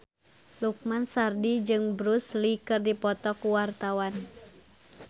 Lukman Sardi jeung Bruce Lee keur dipoto ku wartawan